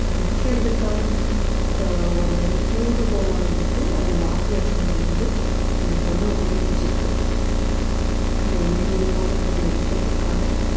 விக்கிறதுக்கான அஹ் ஒரு தூண்டுகோலா வந்துட்டு அந்த mafia சங்கம் வந்து இந்த பொண்ணை உபயோகிச்சிருக்கு அந்த MDMA போதைப் பொருளை விற்கிறதுக்கான